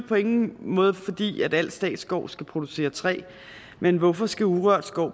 på ingen måde fordi al statsskov skal producere træ men hvorfor skal urørt skov